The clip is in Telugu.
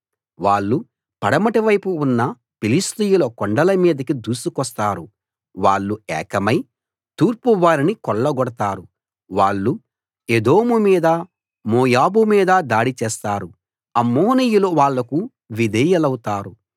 వాళ్ళు పడమటివైపు ఉన్న ఫిలిష్తీయుల కొండల మీదకి దూసుకొస్తారు వాళ్ళు ఏకమై తూర్పు వారిని కొల్లగొడతారు వాళ్ళు ఎదోము మీద మోయాబు మీద దాడి చేస్తారు అమ్మోనీయులు వాళ్లకు విధేయులౌతారు